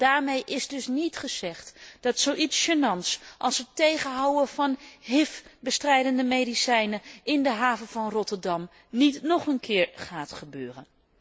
Daarmee is dus niet gezegd dat zoiets als gênants als het tegenhouden van hiv bestrijdende medicijnen in de haven van Rotterdam niet nog een keer gaat gebeuren.